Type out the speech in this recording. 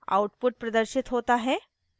output प्रदर्शित होता है